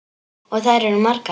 Og þær eru margar.